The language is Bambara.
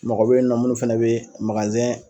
Mɔgɔ bɛ ye nɔ munnu fana bɛ